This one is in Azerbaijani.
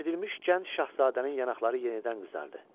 İncidilmiş gənc şahzadənin yanaqları yenidən qızardı.